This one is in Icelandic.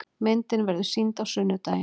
Myndin verður sýnd á sunnudaginn.